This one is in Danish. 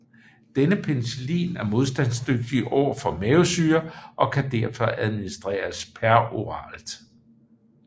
Denne penicillin er modstandsdygtig overfor mavesyre og kan derfor administreres peroralt